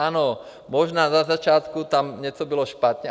Ano, možná na začátku tam něco bylo špatně.